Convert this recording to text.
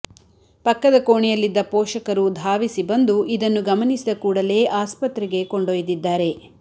ಪಕ್ಕದ ಕೋಣೆಯಲ್ಲಿದ್ದ ಪೋಷಕರು ಧಾವಿಸಿ ಬಂದು ಇದನ್ನು ಗಮನಿಸಿದ ಕೂಡಲೇ ಆಸ್ಪತ್ರೆಗೆ ಕೊಂಡೊಯ್ದಿದ್ದಾರೆ